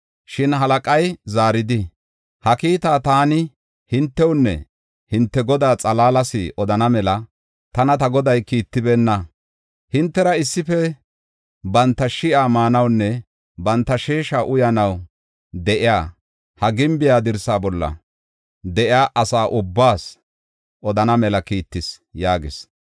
Shin halaqay zaaridi, “Ha kiitaa taani hintewunne hinte godaa xalaalas odana mela tana ta goday kiittibeenna. Hintera issife banta shi7a maanawunne banta sheesha uyanaw de7iya, ha gimbe dirsaa bolla de7iya asa ubbaas odana mela kiittis” yaagis.